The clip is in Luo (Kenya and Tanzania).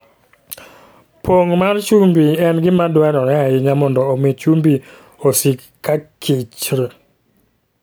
Pong' mar chumbi en gima dwarore ahinya mondo omi chumbi osik kakichr.